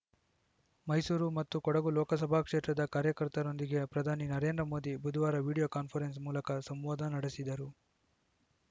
ಮೈಸೂರು ಮತ್ತು ಕೊಡಗು ಲೋಕಸಭಾ ಕ್ಷೇತ್ರದ ಕಾರ್ಯಕರ್ತರೊಂದಿಗೆ ಪ್ರಧಾನಿ ನರೇಂದ್ರ ಮೋದಿ ಬುಧವಾರ ವಿಡಿಯೋ ಕಾನ್ಪರೆನ್ಸ್‌ ಮೂಲಕ ಸಂವಾದ ನಡೆಸಿದರು